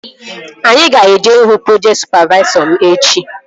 Aga m eje ihu projekti sụpavaisọ m echi